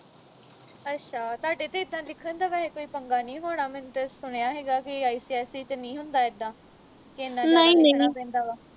ਅੱਛਾ ਤੁਹਾਡੇ ਤੇ ਇੱਦਾ ਲਿਖਣ ਦਾ ਵੈਹੈ ਕੋਈ ਪੰਗਾ ਨਹੀਂ ਹੋਣਾ ਮੈਨੂੰ ਤਾਂ ਸੁਣਿਆ ਹੀਗਾ ਕਿ ICSE ਵਿਚ ਨਹੀਂ ਹੁੰਦਾ ਕਿ ਲਿਖਣਾ ਪੈਂਦਾ ਵਾਂ